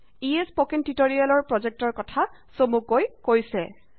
ইয়ে spoken tutorial প্ৰজেক্টৰ কথা চমুকৈ কৈছে